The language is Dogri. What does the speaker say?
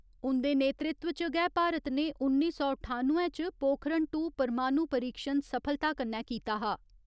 उंदे नेतृत्व च गै भारत ने उन्नी सौ ठानुए च पोखरण टू परमाणु परीक्षण सफलता कन्नै कीता हा।